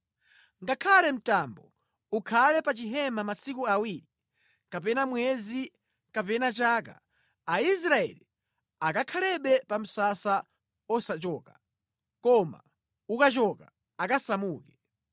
Ngakhale mtambo ukhale pa chihema masiku awiri kapena mwezi kapena chaka, Aisraeli ankakhalabe pa msasa osachoka. Koma ukachoka, ankasamuka.